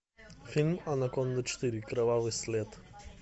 фильм анаконда четыре кровавый след